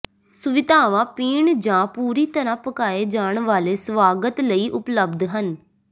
ਸੁਵਿਧਾਵਾਂ ਪੀਣ ਜਾਂ ਪੂਰੀ ਤਰ੍ਹਾਂ ਪਕਾਏ ਜਾਣ ਵਾਲੇ ਸਵਾਗਤ ਲਈ ਉਪਲਬਧ ਹਨ